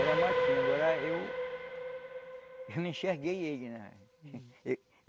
Era matinho, agora eu... Eu não enxerguei ele, né?